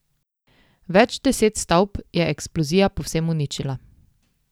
Več deset stavb je eksplozija povsem uničila.